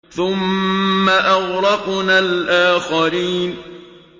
ثُمَّ أَغْرَقْنَا الْآخَرِينَ